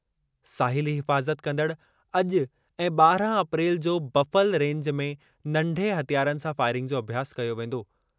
साहिली हिफ़ाज़त कंदड़ अॼु ऐं ॿारहं अप्रैल जो बफ़ल रेंज में नंढे हथियारनि सां फ़ाइरिंग जो अभ्यासु कयो वेंदो।